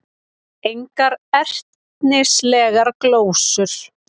Engar ertnislegar glósur.